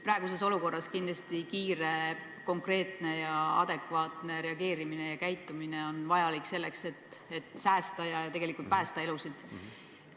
Praeguses olukorras on kindlasti kiire, konkreetne ja adekvaatne reageerimine vajalik selleks, et säästa ja päästa elusid.